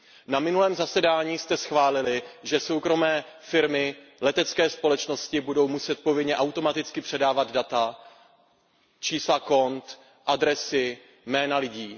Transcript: Na minulém zasedání jste schválili, že soukromé firmy, letecké společnosti, budou muset povinně automaticky předávat data, čísla kont, adresy a jména lidí.